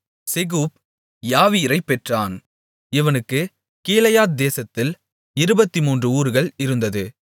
செகூப் யாவீரைப் பெற்றான் இவனுக்குக் கீலேயாத் தேசத்தில் இருபத்து மூன்று ஊர்கள் இருந்தது